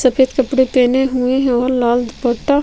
सफ़ेद कपड़े पहने हुए है और लाल दुपट्टा--